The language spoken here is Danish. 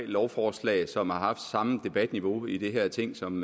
lovforslag som har haft samme debatniveau i det her ting som